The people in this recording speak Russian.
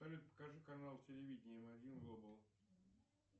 покажи канал телевидения м один глобал